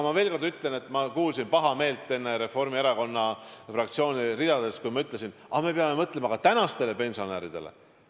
Aga ma kuulsin pahameelepominat Reformierakonna fraktsiooni ridadest, kui ma enne ütlesin, et me peame mõtlema ka tänastele pensionäridele.